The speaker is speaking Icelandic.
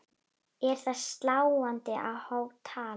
Er það sláandi há tala.